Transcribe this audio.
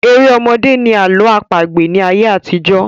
Eré ọmọdé ni Àlọ àpagbẹ̀ ni ayé àtijọ́